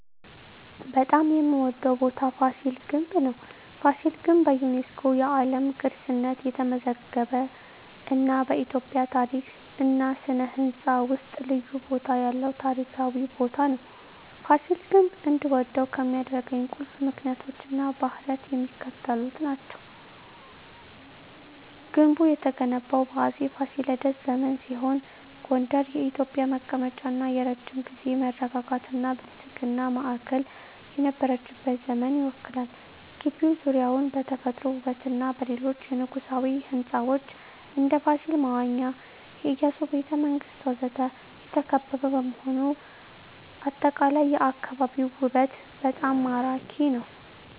በጣም የምዎደው ቦታ ፋሲል ግንብ ነው። ፋሲል ግንብ በዩኔስኮ የዓለም ቅርስነት የተመዘገበ እና በኢትዮጵያ ታሪክ እና ሥነ ሕንፃ ውስጥ ልዩ ቦታ ያለው ታሪካዊ ቦታ ነው። ፋሲል ግንብ እንድወደው ከሚያደርኝ ቁልፍ ምክንያቶች እና ባህሪያት የሚከተሉት ናቸው። ግንቡ የተገነባው በአፄ ፋሲለደስ ዘመን ሲሆን ጎንደር የኢትዮጵያ መቀመጫ እና የረጅም ጊዜ መረጋጋትና ብልጽግና ማዕከል የነበረችበትን ዘመን ይወክላል። ግቢው ዙሪያውን በተፈጥሮ ውበትና በሌሎች የንጉሣዊ ሕንፃዎች (እንደ ፋሲል መዋኛ፣ የኢያሱ ቤተ መንግስት ወዘተ) የተከበበ በመሆኑ አጠቃላይ የአካባቢው ውበት በጣም ማራኪ ነው። …